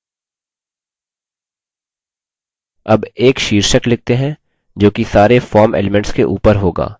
अब एक शीर्षक लिखते हैं जोकि सारे form elements के ऊपर होगा